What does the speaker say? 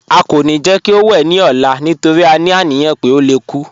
À kọ́ ní jẹ́ kí ó wè ní ọ̀là nítorí à ní aniyàn pé ó lè kú